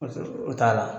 O t'a la